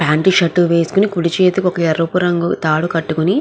pant shirt వేసుకొని కుడి చేతికి ఒక ఎరుపు రంగు తాడు కటుకొని --